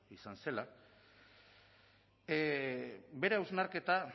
izan zela bere hausnarketa